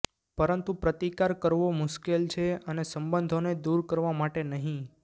પરંતુ પ્રતિકાર કરવો મુશ્કેલ છે અને સંબંધોને દૂર કરવા માટે નહીં